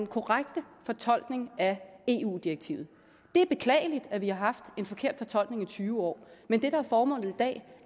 korrekte fortolkning af eu direktivet det er beklageligt at vi har haft en forkert fortolkning i tyve år men det der er formålet i dag